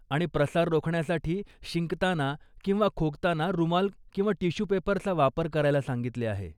आणि प्रसार रोखण्यासाठी शिंकताना किंवा खोकताना रुमाल किंवा टिश्यू पेपरचा वापर करायला सांगितले आहे.